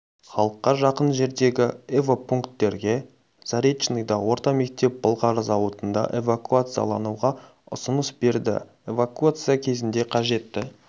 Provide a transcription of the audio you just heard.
халыққа жақын жердегі эвакопунктерге заречныйда орта мектеп былғары зауытында эвакуациялануға ұсыныс берді эвакуация кезінде қажетті